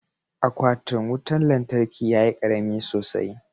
Aquatin wutan lantarkin ya yi karami sosai.